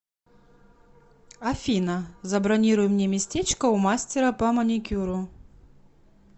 афина забронируй мне местечко у мастера по маникюру